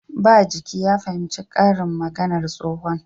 Ba jiki ya fahimci karin maganar tsohon